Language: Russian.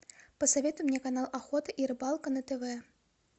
посоветуй мне канал охота и рыбалка на тв